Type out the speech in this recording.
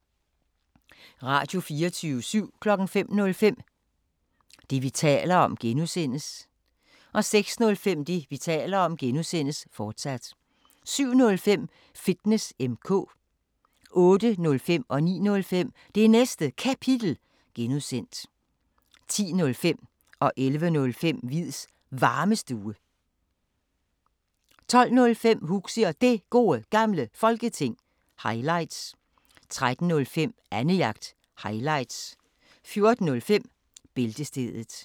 Radio24syv